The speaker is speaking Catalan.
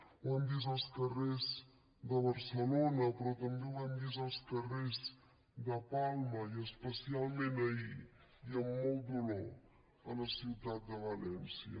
ho hem vist als carrers de barcelona però també ho hem vist als carrers de palma i especialment ahir i amb molt dolor a la ciutat de valència